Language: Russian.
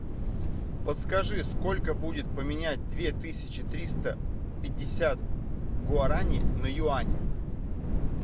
подскажи сколько будет поменять две тысячи триста пятьдесят гуарани на юани